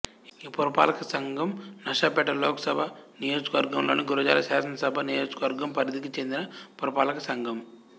ఈ పురపాలక సంఘం నరసరావుపేట లోకసభ నియోజకవర్గంలోనిగురజాల శాసనసభ నియోజకవర్గం పరిధికి చెందిన పురపాలక సంఘం